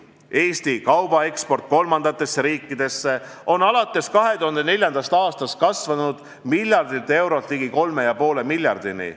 Eesti kaubaeksport kolmandatesse riikidesse on alates 2004. aastast kasvanud miljardilt eurolt ligi 3,5 miljardini.